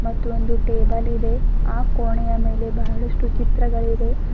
ಇದು ಒಂದು ಟೇಬಲ್ ಇದೆ ಆ ಕೋಣೆಯ ಮೇಲೆ ಬಹಳಷ್ಟು ಚಿತ್ರಗಳಿವೆ.